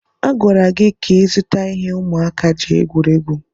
A gwara gị ka ịzụta ihe ụmụaka ji egwuri egwu.